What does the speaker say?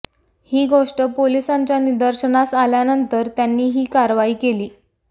ही गोष्ट पोलिसांच्या निदर्शनास आल्यानंतर त्यांनी ही कारवाई केली